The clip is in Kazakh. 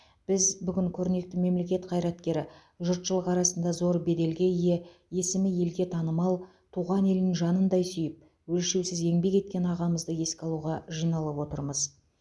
біз бүгін көрнекті мемлекет қайраткері жұртшылық арасында зор беделге ие есімі елге танымал туған елін жанындай сүйіп өлшеусіз еңбек еткен ағамызды еске алуға жиналып отырмыз